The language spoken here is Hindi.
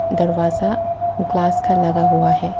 दरवाजा ग्लास का लगा हुआ है।